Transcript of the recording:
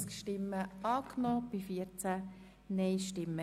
Sie haben Ziffer 1 angenommen.